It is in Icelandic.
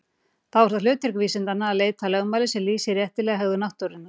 Þá er það hlutverk vísindanna að leita að lögmáli sem lýsir réttilega hegðun náttúrunnar.